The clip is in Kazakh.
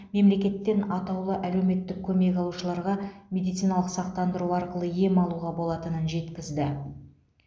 мемлекеттен атаулы әлеуметтік көмек алушыларға медициналық сақтандыру арқылы ем алуға болатынын жеткізді